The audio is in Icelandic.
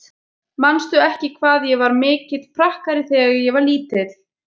Manstu ekki hvað ég var mikill prakkari þegar ég var lítil?